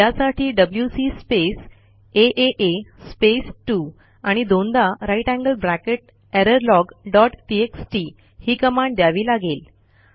त्यासाठी WC space आ space 2 आणि दोनदा greater than sign error log dot TXT ही कमांड द्यावी लागेल